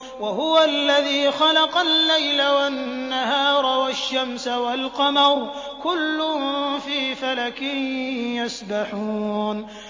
وَهُوَ الَّذِي خَلَقَ اللَّيْلَ وَالنَّهَارَ وَالشَّمْسَ وَالْقَمَرَ ۖ كُلٌّ فِي فَلَكٍ يَسْبَحُونَ